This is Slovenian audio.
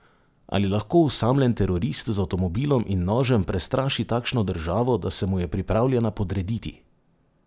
Ali lahko osamljen terorist z avtomobilom in nožem prestraši takšno državo, da se mu je pripravljena podrediti?